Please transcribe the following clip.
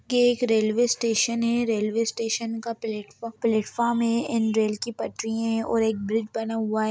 ये एक railway station है। रेलवे स्टेशन का प्लेटफॉर्म प्लेटफॉर्म है एण्ड रेल की पटरी हैं और एक ब्रिज बना हुआ है।